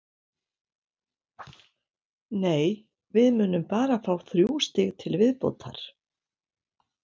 Nei, við munum bara fá þrjú stig til viðbótar.